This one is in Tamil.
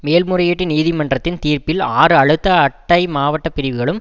மேல்முறையீட்டு நீதிமன்றத்தின் தீர்ப்பில் ஆறு அழுத்த அட்டை மாவட்ட பிரிவுகளும்